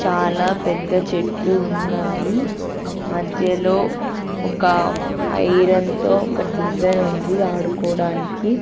చాలా పెద్ద చెట్లు ఉన్నాయి మధ్యలో ఒక ఐరన్ తో ఒక డిజైనుంది ఆడుకోడానికి.